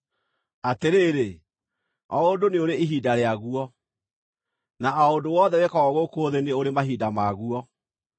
Atĩrĩrĩ, o ũndũ nĩ ũrĩ ihinda rĩaguo, na o ũndũ o wothe wĩkagwo gũkũ thĩ nĩ ũrĩ mahinda maguo: